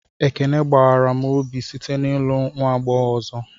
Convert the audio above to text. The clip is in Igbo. Ekene gbawara m obi site n'ịlụ nwa agbọghọ ọzọ